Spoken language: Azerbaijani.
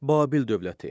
Babil dövləti.